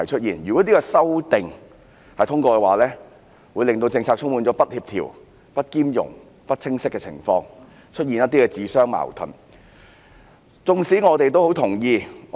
如果《條例草案》獲得通過，政策便會變得不協調、不兼容、不清晰，並出現一些自相矛盾的地方。